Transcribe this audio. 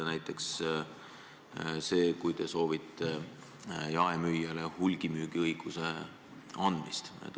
Näiteks see, et te soovite jaemüüjale anda hulgimüügiõiguse.